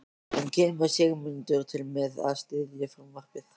En kemur Sigmundur til með að styðja frumvarpið?